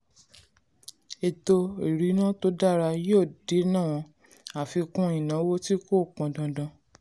ètò ìrìnnà tó dára yóò dènà àfikún ìnáwó tí kò pọn dandan.